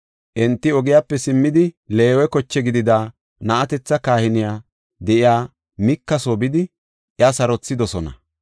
Enti ogiyape simmidi, Leewe koche gidida na7atetha kahiney de7iya Mika soo bidi iya sarothidosona.